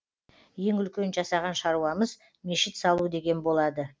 ең үлкен жасаған шаруамыз мешіт салу деген болады